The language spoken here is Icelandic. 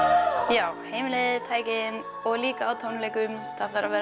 já heimilið tækin og líka á tónleikum það þarf að vera